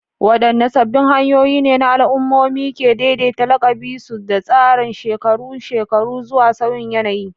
Wadanne sabbin hanyoyi ne al'ummomi ke daidaita lakabin su da tsarin shekarun shekaru zuwa sauyin yanayi?